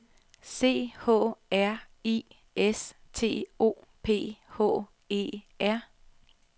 C H R I S T O P H E R